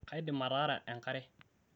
kaidim ataara enkare